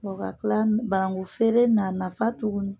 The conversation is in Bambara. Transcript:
Wa ka tila, banakun feere a nafa tugunin